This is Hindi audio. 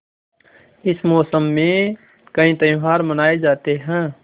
इस मौसम में कई त्यौहार मनाये जाते हैं